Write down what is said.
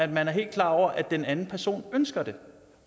man er helt klar over at den anden person ønsker det